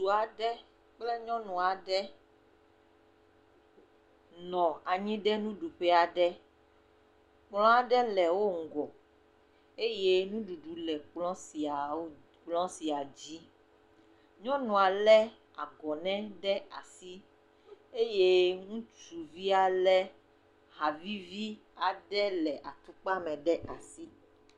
Ŋutsu aɖe kple nyɔnu aɖe nɔ anyi ɖe nuɖuƒe aɖe. Kplɔ̃ aɖe le wo ŋgɔ eye nuɖuɖu le kplɔ̃ siawo, kplɔ̃ sia dzi. Nyɔnua lé agɔnɛ ɖe asi eye ŋutsuvia lé ha vivi aɖe le atukpame ɖe asi.